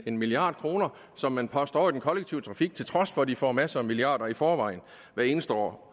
en milliard kr som man postede over i den kollektive trafik til trods for at de får masser af milliarder i forvejen hvert eneste år